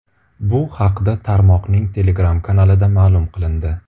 Bu haqda tarmoqning Telegram kanalida ma’lum qilindi.